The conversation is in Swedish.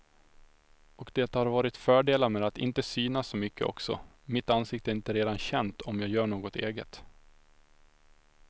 Och det har varit fördelar med att inte synas så mycket också, mitt ansikte är inte redan känt om jag gör något eget.